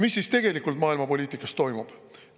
Mis siis tegelikult maailmapoliitikas toimub?